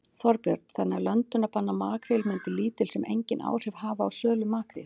Þorbjörn: Þannig að löndunarbann á makríl myndi lítil sem enginn áhrif hafa á sölu makríls?